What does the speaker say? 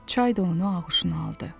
Çay da onu ağuşuna aldı.